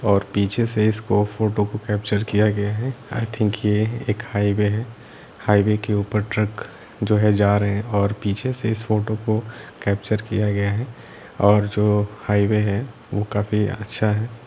और पीछे से इसको फोटो को कैप्चर किया गया है आई थिंक ये एक हाईवे है हाईवे के ऊपर ट्रक जो है जा रहै हैं और पीछे से इस फोटो को कैप्चर किया गया है और जो हाईवे है वह काफी अच्छा है।